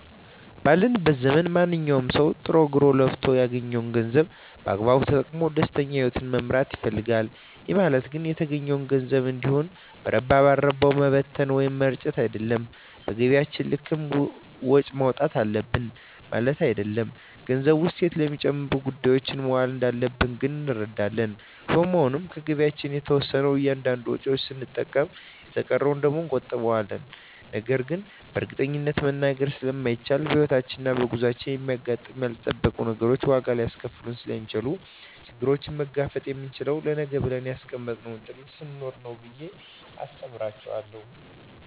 ባለንበት ዘመን ማንኛዉም ሰዉ ጥሮ ግሮእና ለፍቶ ያገኘዉን ገንዘብ በአግባቡ ተጠቅሞ ደስተኛ ህይወትን መምራት ይፈልጋል ይህ ማለት ግን የተገኘዉን ገንዘብ እንዲሁ በረባ ባረባዉ መበተን ወይም መርጨት አይደለም በገቢያችን ልክም ወጪ ማዉጣት አለብን ማለትም አይደለም ገንዘቡ እሴት ለሚጨምሩ ጉዳዮች መዋል እንዳለበት ግን እንረዳለን በመሆኑም ከገቢያችን የተወሰነዉን ለእያንዳንድ ወጪዎች ስንጠቀምበት የተቀረዉን ደግሞ እንቆጥበዋለን ነገን በእርግጠኝነት መናገር ስለማይቻልም በሕይወት ጉዟችን የሚያጋጥሙን ያልጠበቅናቸዉ ነገሮች ዋጋ ሊያስከፍሉን ስለሚችሉ ችግሩን መጋፈጥ የምንችለዉ ለነገ ብለን ያስቀመጥነዉ ጥሪት ስኖረን ነዉ ብየ አስተምራቸዋለሁ